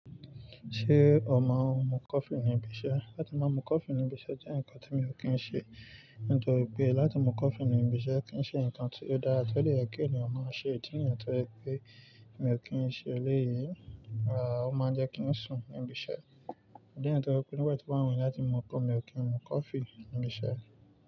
Ṣé o máa ń mu coffee níbi iṣẹ́? Látí máa mú coffee níbi iṣẹ́ jẹ́ nǹkan tí mi ò kí n ṣe, nítorí pé láti mú coffee níbi iṣẹ́ kì í ṣe nǹkan tí ó dára tó lè kí ènìyàn máa ṣe. Nítorí pé mi ò kí n ṣe eléyìí, àá ó máa jẹ́ kí n sùn níbi iṣẹ́. Nítorí pé nígbà tí wọ́n wí láti mú coffee mi ò kí n mú coffee níbi iṣẹ́.